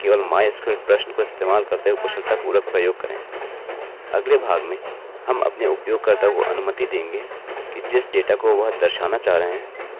अगले भाग मेंहम अपने उपयोगकर्ता को अनुमति देंगे कि जिस डेटा को वह दर्शाना चाह रहें है उसे वह स्पष्ट रूप से बता सकें